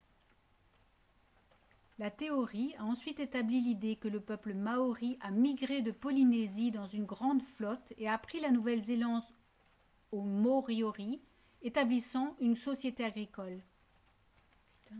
la théorie a ensuite établi l'idée que le peuple maori a migré de polynésie dans une grande flotte et a pris la nouvelle-zélande aux moriori établissant une société agricole